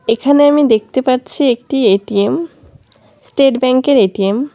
এখানে আমি দেখতে পারছি একটি এ_টি_এম স্টেট ব্যাঙ্কের এ_টি_এম ।